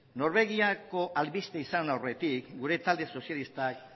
norbegiako albiste izan aurretik gure talde sozialistak